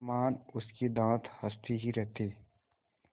समान उसके दाँत हँसते ही रहते